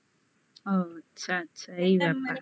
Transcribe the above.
ও আচ্ছা আচ্ছা এই ব্যাপার তা মানে